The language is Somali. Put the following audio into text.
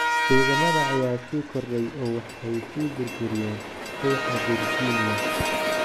"Ciidamada ayaa sii kordhay oo waxay sii burburiyeen ruuxa Virginia."